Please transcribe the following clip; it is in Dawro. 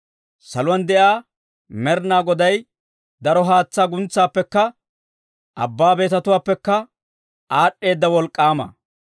Saluwaan de'iyaa Med'inaa Goday daro haatsaa guntsaappekka, abbaa betatuwaappekka aad'd'eeda wolk'k'aama.